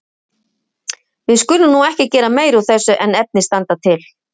Við skulum nú ekki gera meira úr þessu en efni standa til.